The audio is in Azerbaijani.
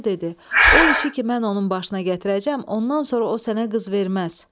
Koroğlu dedi: "O işi ki, mən onun başına gətirəcəm, ondan sonra o sənə qız verməz.